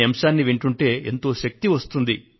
అనే అంశాన్ని వింటుంటే ఎంతో శక్తి వస్తుంది